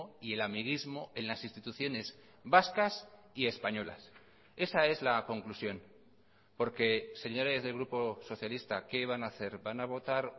y el amiguismo en las instituciones vascas y españolas esa es la conclusión porque señores del grupo socialista qué van a hacer van a votar